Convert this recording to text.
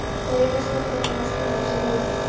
Þau rekast hvert á annað og splundrast við miðjuna.